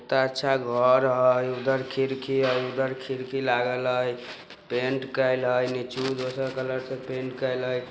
एत्ता अच्छा घर हई उधर खिरकी हई उधर खिरकी लागल हई पैंट कईल हई नीचु दोसर कलर से पेन्ट कईल हई ।